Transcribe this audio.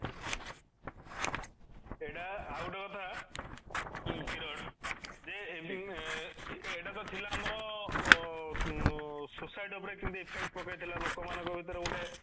ସେଇଟା ଆଉ ଗୋଟେ କଥା କିରଣ ଯେ ଏଇଟା ତ ଥିଲା ଆମର ଅଂ society ଉପରେ କେମିତି effect ପକେଇଥିଲା ଲୋକମାନଙ୍କ ଭିତରେ ଗୋଟେ